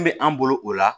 Min bɛ an bolo o la